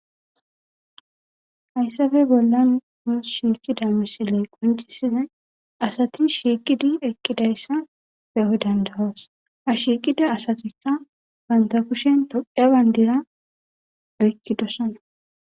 hayssafe bollan mus shiikida misiley qoncisiza asati shiiqidi eqqidayssa beho dandawas ha shiiqida asatikka banta kushen toqa bandira ekkidosana